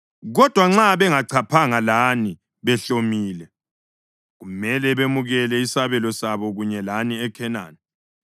Kodwa nxa bengachaphanga lani behlomile, kumele bemukele isabelo sabo kunye lani eKhenani.”